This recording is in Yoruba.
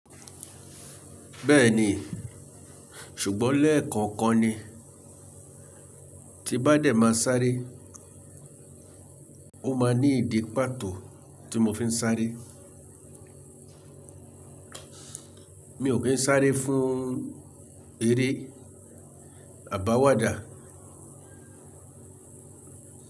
Bẹ́ẹ̀ni, ṣùgbọ́n lẹ́ẹ̀kookan ni tí n bá dẹ̀ máa sárẹ́, ó máa ní ìdí pàtó tí mo fi ń sárẹ́. Mi ò kí ń sárẹ́ fún eré àbáwádà.